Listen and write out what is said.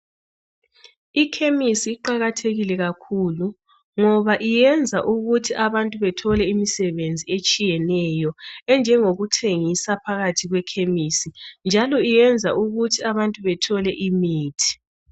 Ikhemisi iqakathekile kakhulu ngoba iyenza ukuthi abantu bethole imisebenzi etshiyetshiyeneyo enjengokuthengisa phakathi kwekhemisi njalo iyenza ukuthi abantu bethole imithi